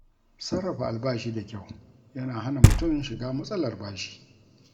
Sarrafa albashi da kyau yana hana mutum shiga matsalar bashi.